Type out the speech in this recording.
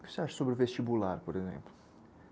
O que você acha sobre o vestibular, por exemplo?